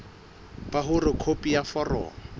ba hore khopi ya foromo